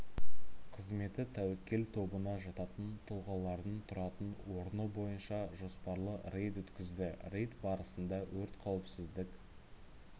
қызметі тәуекел тобына жататын тұлғалардың тұратын орны бойынша жоспарлы рейд өткізді рейд барысында өрт қауіпсіздік